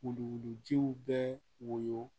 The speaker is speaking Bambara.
Wuluwulujiw bɛ woyo